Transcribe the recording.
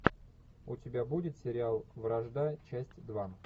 у тебя будет сериал вражда часть два